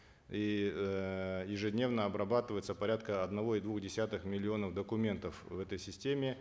и эээ ежедневно обрабатывается порядка одного и двух десятых миллионов документов в этой системе